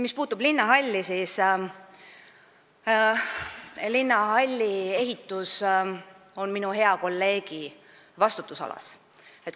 Mis puutub linnahalli, siis linnahalli ehitus on minu hea kolleegi vastutusalas.